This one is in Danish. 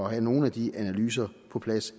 have nogle af de analyser på plads